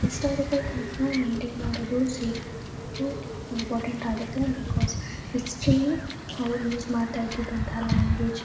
historical things ನಾ maintain ಮಾಡೋದು safe ಮಾಡೋದು ಇಂಪೋರ್ಟೆನಟ್ ಆಗುತ್ತೆ ಬಿಕಾಸ್ ಹಿಸ್ಟರಿ ಅವ್ರು ಯುಸ್ ಮಾಡ್ತಾ ಇದ್ದಿದ್ದಂತಹ ಲಾಂಗ್ವೇಜ್ --